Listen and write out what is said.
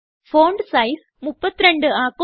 font size 32 ആക്കുക